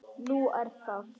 Nú, er það?